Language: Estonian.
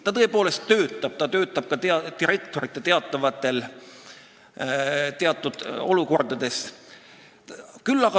Ta tõepoolest töötab ja ta töötab ka direktoritel teatud olukordades.